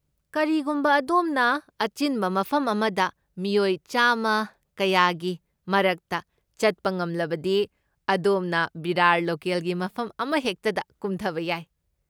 ꯀꯔꯤꯒꯨꯝꯕ ꯑꯗꯣꯝꯅ ꯑꯆꯤꯟꯕ ꯃꯐꯝ ꯑꯃꯗ ꯃꯤꯑꯣꯏ ꯆꯥꯃ ꯀꯌꯥꯒꯤ ꯃꯔꯛꯇ ꯆꯠꯄ ꯉꯝꯂꯕꯗꯤ ꯑꯗꯣꯝꯅ ꯚꯤꯔꯥꯔ ꯂꯣꯀꯦꯜꯒꯤ ꯃꯐꯝ ꯑꯃꯍꯦꯛꯇꯗ ꯀꯨꯝꯊꯕ ꯌꯥꯏ꯫